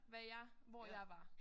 Hvad jeg hvor jeg var